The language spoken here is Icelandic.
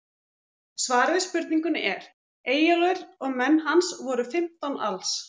Svarið við spurningunni er: Eyjólfur og menn hans voru fimmtán alls.